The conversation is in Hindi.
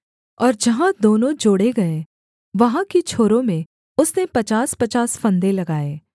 और जहाँ दोनों जोड़े गए वहाँ की छोरों में उसने पचासपचास फंदे लगाए